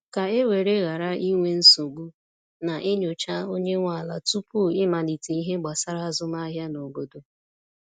ka e were ghara inwe nsogbu, na e nyocha onye nwe ala tupu i malite ihe gbasara azụmahịa n’obodo